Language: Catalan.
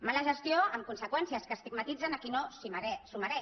mala gestió amb conseqüències que estigmatitzen a qui no s’ho mereix